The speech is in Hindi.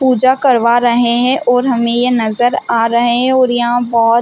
पूजा करवा रहे है और हमे ये नजर आ रहे हैं और यहाँ बहोत --